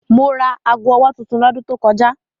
Mo ra ago-ọwọ́ tuntun lọ́dún tó kọjá